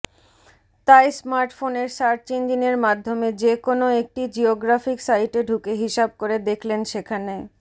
তাই স্মার্টফোনের সার্চ ইঞ্জিনের মাধ্যমে যেকোনো একটি জিওগ্রাফিক সাইটে ঢুকে হিসাব করে দেখলেন সেখানে